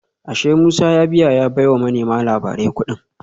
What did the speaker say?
Ashe Musa ya biya ya baiwa manema labarai kudin